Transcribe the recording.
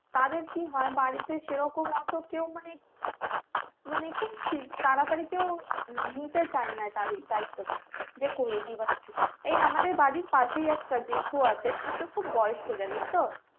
তাদের কি হয় বাড়িতে সেরকম অত কেউ মানে মানে খুব তাড়াতাড়িতেও নিতে চাইনা তাদের দায়িত্বটা যে করেদি বা কিছু এই আমাদের বাড়ির পাশেই একটা জেঠু আছে কিন্তু খুব বয়স্ক জানিস তো